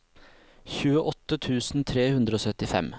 tjueåtte tusen tre hundre og syttifem